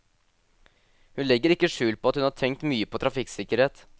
Hun legger ikke skjul på at hun har tenkt mye på trafikksikkerhet.